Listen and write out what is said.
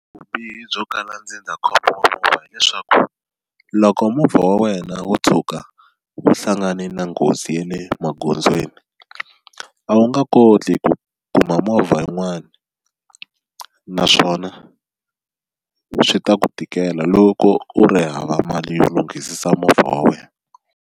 Vubihi byo kala ndzindzakhombo wa movha hileswaku loko movha wa wena wo tshuka wu hlangane na nghozi ya le magondzweni a wu nga koti ku kuma movha yin'wani naswona swi ta ku tikela loko u ri hava mali yo lunghisisa movha wa wena.